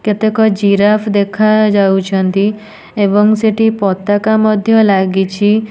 କେତେକ ଜିରାଫ୍ ଦେଖାଯାଉଛନ୍ତି ଏବଂ ସେଠି ପତକା ମଧ୍ଯ ଲାଗିଛି।